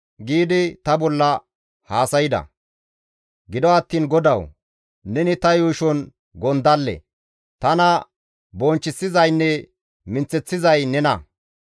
Gido attiin GODAWU! Neni ta yuushon gondalle. Tana bonchchisizaynne minththeththizay nena.